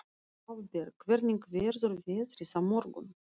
Hafberg, hvernig verður veðrið á morgun?